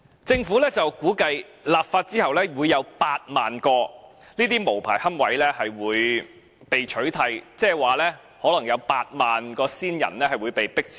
政府估計，立法後會有8萬個這些無牌龕位被取締，即是說，可能有8萬個先人骨灰會被迫遷。